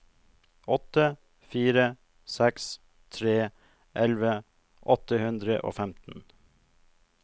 åtte fire seks tre elleve åtte hundre og femten